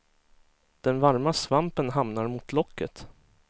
Den varma svampen hamnar mot locket.